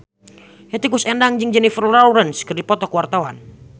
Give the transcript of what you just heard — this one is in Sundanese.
Hetty Koes Endang jeung Jennifer Lawrence keur dipoto ku wartawan